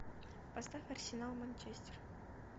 поставь арсенал манчестер